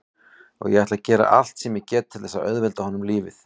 Og ég ætla að gera allt sem ég get til þess að auðvelda honum lífið.